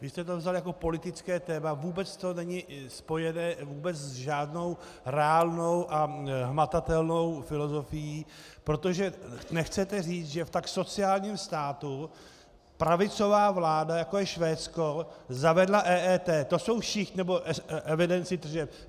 Vy jste to vzali jako politické téma, vůbec to není spojené vůbec s žádnou reálnou a hmatatelnou filozofií, protože nechcete říct, že v tak sociálním státě pravicová vláda, jako je Švédsko, zavedla EET.